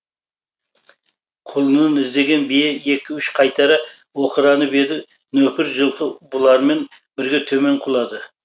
құлынын іздеген бие екі үш қайтара оқыранып еді нөкір жылқы бұлармен бірге төмен құлады